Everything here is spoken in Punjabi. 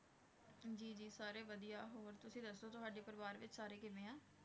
ਜੀ ਜੀ ਸਾਰੇ ਵਧੀਆ ਹੋਰ ਤੁਸੀਂ ਦੱਸੋ ਤੁਹਾਡੇ ਪਰਿਵਾਰ ਵਿੱਚ ਸਾਰੇ ਕਿਵੇਂ ਹੈ?